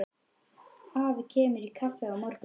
Afi kemur í kaffi á morgun.